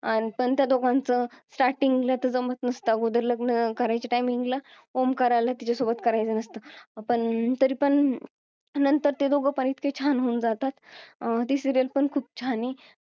अन पण त्या दोघांचं starting ला जमत नसत अगोदर लग्न करायच्या timing ला ओमकाराला तिच्यासोबत करायचं नसतं पण तरीपण नंतर ते दोघे पण इतके छान होऊन जातात अं ती serial पण खूप छान आहे